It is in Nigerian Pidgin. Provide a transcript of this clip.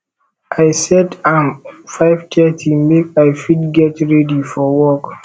i set am 530 make i fit get ready for work